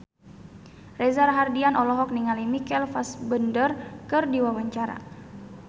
Reza Rahardian olohok ningali Michael Fassbender keur diwawancara